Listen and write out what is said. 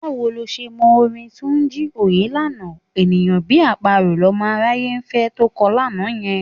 Báwo lo ṣe mọ orin Túnjí Òyélànà: "... ènìyàn bí àparò lọmọ aráyé ń fẹ...", to ń kọ lánàá yẹn?